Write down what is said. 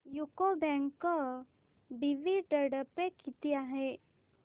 UCO bank dividend pay किती आहे